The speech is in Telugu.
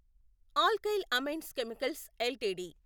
alkyl Amines Chemicals LTD